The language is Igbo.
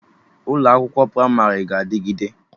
Ụlọ akwụkwọ Pramarị ga-adịgide